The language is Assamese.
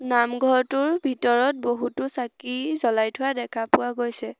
নামঘৰটোৰ ভিতৰত বহুতো চাকি জ্বলাই থোৱা দেখা পোৱা গৈছে।